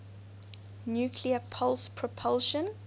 nuclear pulse propulsion